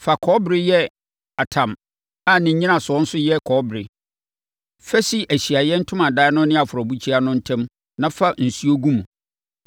“Fa kɔbere yɛ atam a ne nnyinasoɔ nso yɛ kɔbere. Fa si Ahyiaeɛ Ntomadan no ne afɔrebukyia no ntam na fa nsuo gu mu.